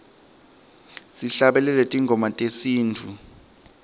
sihlabelele tingoma tesintfu